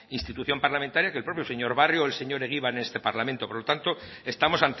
institución parlamentaria que el propio señor barrio o el señor egibar en este parlamento por lo tanto estamos